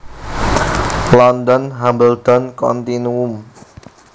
London Hambledon Continuum